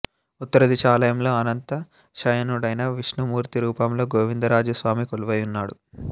ఉత్తర దిశ ఆలయంలో అనంత శయనుడైన విష్ణుమూర్తి రూపంలో గోవిందరాజ స్వామి కొలువైయున్నాడు